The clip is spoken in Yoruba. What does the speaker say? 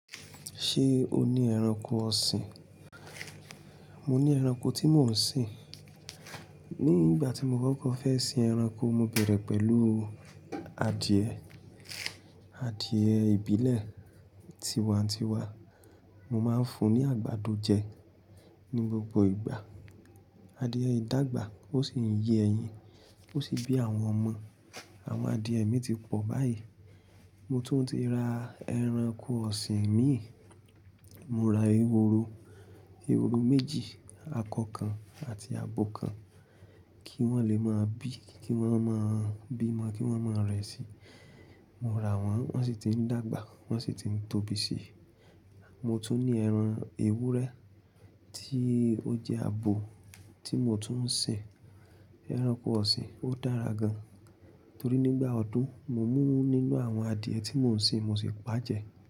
Ṣé o ní ẹranko ọ̀sìn? Mo ní ẹranko tí mò ń sìn. Ní ìgbà tí mo kọ́kọ́ fẹ́ sin ẹranko, mo bẹ̀rẹ̀ pẹ̀lú adìẹ, adìyẹ ìbílẹ̀ tiwa n tiwa. Mo máa ń fún un ní àgbàdo jẹ ní gbogbo ìgbà. Adìye yìí dàgbà ó sì ń yé ẹyin, ó sì bí àwọn ọmọ. Àwọn adìẹ mi ti pọ̀ báyìí. Mo tún ti ra ẹranko ọ̀sìn imi. Mo ra ehoro, ehoro méjì, akọ kan àti abo kan, kí wọ́n lè máa bí, kí wọ́n máa bímọ, kí wọ́n máa rẹ̀ sí i. Mo rà wọ́n, wọ́n sì ti ń dàgbà, wọ́n sì ti ń tóbi sí. Mo tún ní ẹran ewúrẹ́ tí ó jẹ́ abo tí mo tún ń sin ẹranko ọ̀sìn. Ó dára gan, torí nígbà ọdún mo mú nínú àwọn adìyẹ tí mò ń sin, mo sì pà jẹ́.